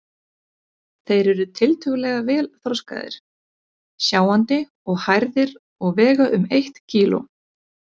Þeir eru tiltölulega vel þroskaðir, sjáandi og hærðir og vega um eitt kíló.